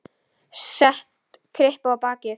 Set kryppu á bakið.